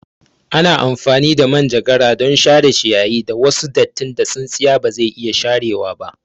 Ana amfani da manjagara don share shiyayi da wasu dattin da tsintsiya bazai iya sharewa ba